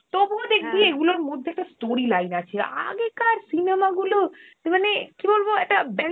তবুও দেখবি এইগুলোর মধ্যে একটা story line আছে. আগেকার cinema গুলো, মানে কি বলব একটা ব্যাপ~